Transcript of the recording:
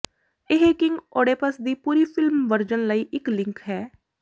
ਇਹ King Oedipus ਦੀ ਪੂਰੀ ਫ਼ਿਲਮ ਵਰਜਨ ਲਈ ਇਕ ਲਿੰਕ ਹੈ